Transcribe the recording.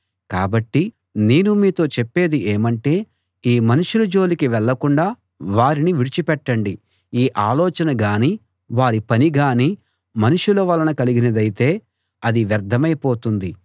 కాబట్టి నేను మీతో చెప్పేది ఏమంటే ఈ మనుషుల జోలికి వెళ్ళకుండా వారిని విడిచిపెట్టండి ఈ ఆలోచన గానీ వారి పని గానీ మనుషుల వలన కలిగినదైతే అది వ్యర్థమై పోతుంది